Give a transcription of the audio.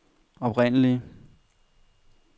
oprindelige